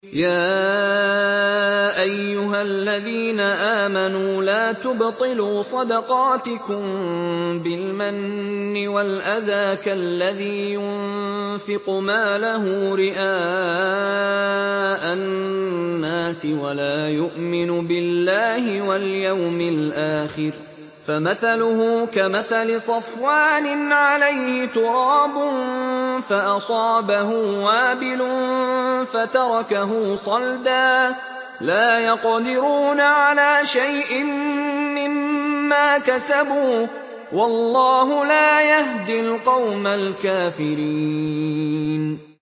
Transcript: يَا أَيُّهَا الَّذِينَ آمَنُوا لَا تُبْطِلُوا صَدَقَاتِكُم بِالْمَنِّ وَالْأَذَىٰ كَالَّذِي يُنفِقُ مَالَهُ رِئَاءَ النَّاسِ وَلَا يُؤْمِنُ بِاللَّهِ وَالْيَوْمِ الْآخِرِ ۖ فَمَثَلُهُ كَمَثَلِ صَفْوَانٍ عَلَيْهِ تُرَابٌ فَأَصَابَهُ وَابِلٌ فَتَرَكَهُ صَلْدًا ۖ لَّا يَقْدِرُونَ عَلَىٰ شَيْءٍ مِّمَّا كَسَبُوا ۗ وَاللَّهُ لَا يَهْدِي الْقَوْمَ الْكَافِرِينَ